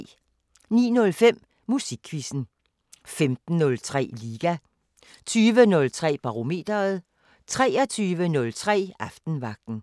09:05: Musikquizzen 15:03: Liga 20:03: Barometeret 23:03: Aftenvagten